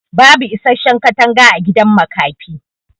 bubu isasshen katanga agidan makafi